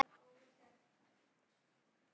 Hæ Lilli!